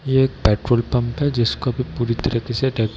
ये एक petrol pump है जिसको अभी पूरी तरीके से --